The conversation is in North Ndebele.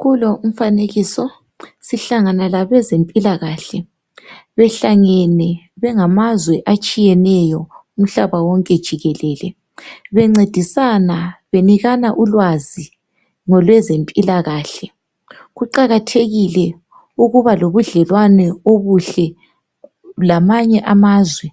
Kulo umfanekiso uhlangana labezempilakahle behlangene bengamazwe atshiyeneyo umhlaba wonke jikelele. Bencedisana benikana ulwazi ngolweze mpilakahle, kuqakathekile ukuba lobudlelwano obuhle lamanye amazwe